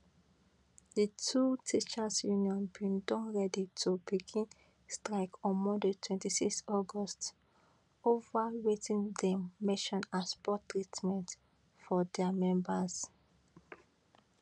di two teachers union bin don ready to begin strike on monday 26 august ova wetin dem mention as poor treatment for dia members